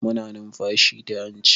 Muna numfashi ta hanci.